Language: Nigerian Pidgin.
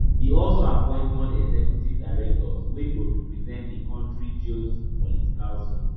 e also appoint nonexecutive directors wey go represent di country geopolitical zone